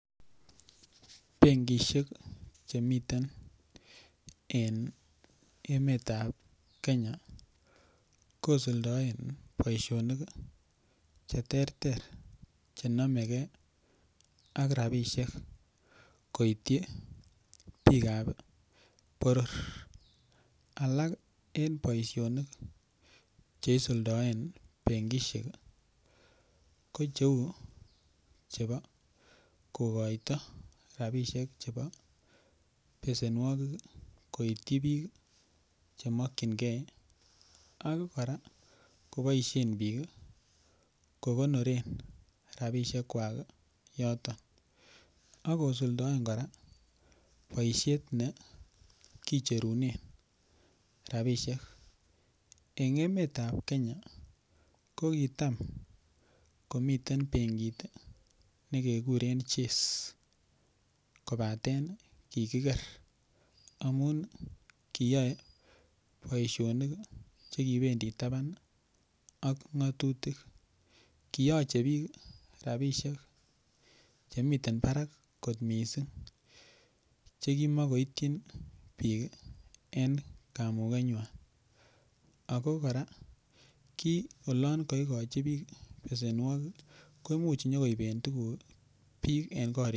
Benkish Che miten en emetab Kenya kosuldaen boisinik Che terter Che nomegei rabisiek koityi bikab boror alak en boisionik Che isuldoen benkisiek ko cheu chebo kokoito rabisiek chebo besenwogik koityi bik Che mokyingei ak kora koboisien bik kogonoren rabisiek kwak yoton ak kosuldaen kora boisiet ne kicherunen rabisiek en emetab Kenya ko kitam komiten benkit nekekuren chase kobaten kigiger amun kiyoe boisionik Che kibendi taban ak ngatutik kiyoche bik rabisiek Che miten barak kot mising Che kimokoityin bik en kamugenywa ago kora ki oloon kaigochi bik besenwogik ko Imuch konyo bik tuguk en korikwak